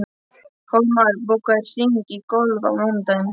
Hólmar, bókaðu hring í golf á mánudaginn.